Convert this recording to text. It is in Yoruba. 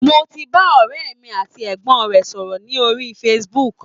Mo ti bá ọ̀rẹ́ mi àti ẹ̀gbọ́n rẹ̀ sọ̀rọ̀ ní orí Facebook